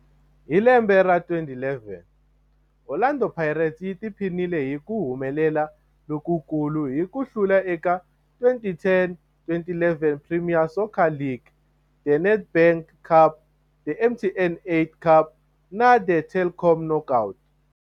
Hi lembe ra 2011, Orlando Pirates yi tiphinile hi ku humelela lokukulu hi ku hlula eka 2010-11 Premier Soccer League, The Nedbank Cup, The MTN 8 Cup na The Telkom Knockout.